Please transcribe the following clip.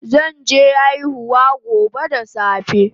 Zan je aihuwa gobe da safe